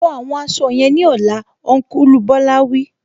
Fọ àwọn aṣọ yẹn ní ọlá, Ọnkulu Bola wí